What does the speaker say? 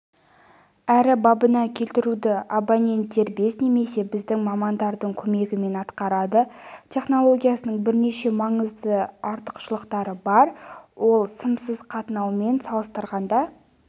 әрі бабына келтіруді абонент дербес немесе біздің мамандардың көмегімен атқарады технологиясының бірнеше маңызды артықшылықтары бар ол сымсыз қатынаумен салыстырғанда